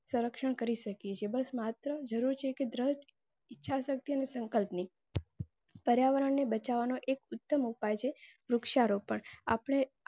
સરક્ઉષણ કરી શકીએ છીએ બસ માત્ત્તર જરુર છે કે દ્રડ ઈચ્છા શક્તિ અને સંકલ્પ ની પર્યાવરણ ને બચવાનો એક ઉત્તમ ઉપાય છે વૃક્ષારોપણ આપણે